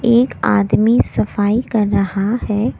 एक आदमी सफाई कर रहा है।